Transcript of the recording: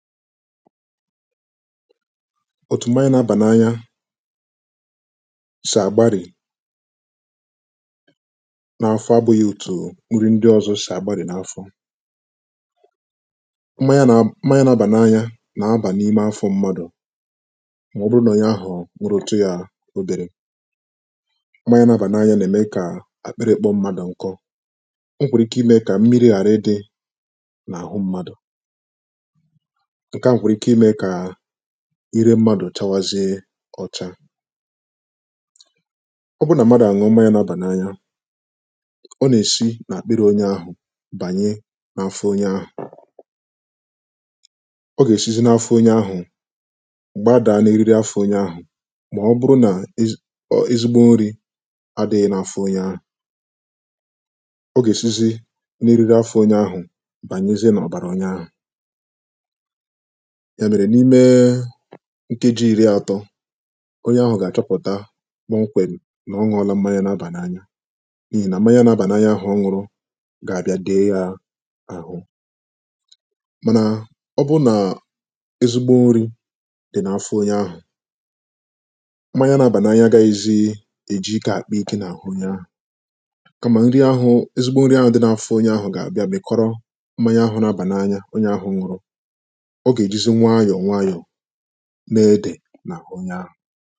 òtù mmaya na-abà n’anya sì àgbarì n’afọ abụ̄ghị̄ òtù nri ndị ọ̄zọ̄ sì àgbarì n’afọ mmanya nā mmanya nā-ābà n’anya nà-abà n’ime afọ̄ mmadụ̀ mà ọ bụrụ nà onye ahụ̀ nwụrụtụ yā oberē mmanya nā-ābà n’anya nà-ème kà àkpịrị̄ kpọọ̄ mmadụ̀ nkọ o nwèkwàrà ike imē kà mmirī ghàra ịdị̄ n’àhụ m̄mādụ̀ ǹke à nwèkwàrà ike imē kà ire m̄mādụ̀ chawazie ọ̄chā ọ bụrụ nà mmadụ̀ nụọ mmanya nā-ābà n’anya ọ nà-èsi n’àkpịrị̄ onye ahụ̀ bànye n’afọ onye ahụ̀ ọ gà-èsizi n’afọ onye ahụ̀ gbadàa n’eriri afọ̄ onye ahụ̀ mà ọ bụrụ nà ezigbo nrī adị̄ghị̄ n’āfọ̄ ōnyē āhụ̀ ọ gà-èsizi n’eriri afọ̄ onye ahụ̀ bànyezie n’ọ̀bàrà onye ahụ̀ èmèrè n’ime nkuji ìri ātọ̄ onye ahụ̀ gà-àchọpụ̀ta kọmkwem̀ nà ọ nụọ̄lā mmanya na-abà n’anya n’ihì nà mmanya nā-ābà n’anya ahụ̀ ọ nụ̄rụ̄ gà-àbịa dèe yā àhụ mànà ọ bụrụ nà ezigbo nrī dị̀ n’afọ onye ahụ̀ mmanya nā-ābà n’anya agāghị̄zị̄ èji ikē àkpa ikē n’àhụ onye ahụ̀ kamà ezigbo nri ahụ̄ dị̀ n’afọ onye ahụ̄ gà-àbịa bèkọrọ mmanya ahụ̄ nā-ābà n’anya onye ahụ̄ nụ̀rụ̀ ọ gà-èjizi nwayọ̀ nwayọ̀ na-edè n’àhụ onye ahụ̀